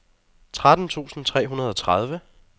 tretten tusind tre hundrede og tredive